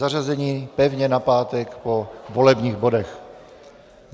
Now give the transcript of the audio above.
Zařazení pevně na pátek po volebních bodech.